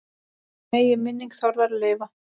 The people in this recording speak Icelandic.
Megi minning Þórðar lifa.